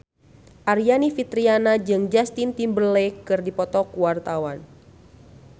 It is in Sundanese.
Aryani Fitriana jeung Justin Timberlake keur dipoto ku wartawan